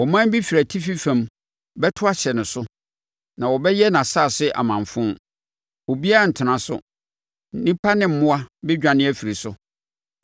Ɔman bi firi atifi fam bɛto ahyɛ ne so na wɔbɛyɛ nʼasase amanfo. Obiara rentena so; nnipa ne mmoa bɛdwane afiri so.